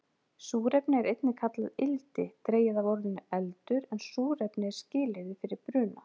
Súrefni er einnig kallað ildi, dregið af orðinu eldur, en súrefni er skilyrði fyrir bruna.